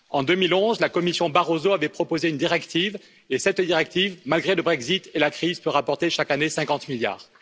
En 2011, la Commission Barroso avait proposé une directive, et cette directive, malgré le Brexit et la crise, peut rapporter chaque année 50 milliards.